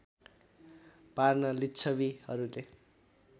पार्न लिच्छबीहरूले